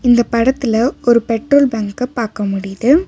இந்த படத்துல ஒரு பெட்ரோல் பங்க்க பாக்க முடிது.